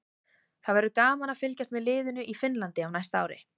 Það verður gaman að fylgjast með liðinu í Finnlandi á næsta ári.